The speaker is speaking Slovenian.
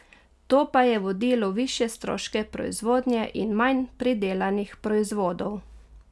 To pa je vodilo v višje stroške proizvodnje in manj predelanih proizvodov.